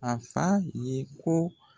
A f'a ye ko